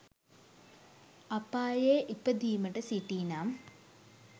අපායේ ඉපදීමට සිටී නම්